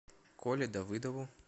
коле давыдову